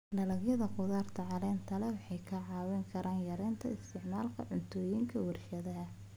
Dalagyada khudaarta caleenta leh waxay ka caawin karaan yareynta isticmaalka cuntooyinka warshadaha.